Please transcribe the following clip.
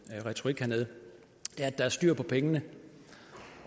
retorik hernede at der er styr på pengene